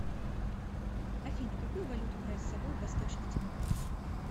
афина какую валюту брать с собой в восточный тимор